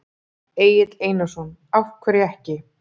Egill Einarsson: Af hverju ekki?